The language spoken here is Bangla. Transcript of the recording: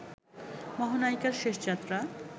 মহানায়িকার শেষ যাত্রা